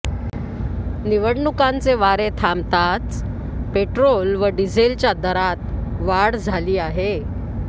निवडणुकांचे वारे थांबताच पेट्रोल व डिझेलच्या दरात वाढ झाली आहे